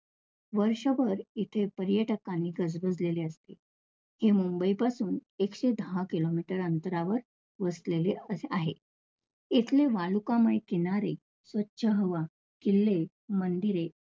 वर्षभर इथे पर्यटकाने गजबजलेले असते. हे मुंबई पासून एकशे दहा kilometer अंतरावर वसलेले आहे. इथले वालुकामय किनारे, स्वच्छ हवा, किल्ले, मंदिरे